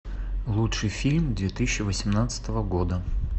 лучший фильм две тысячи восемнадцатого года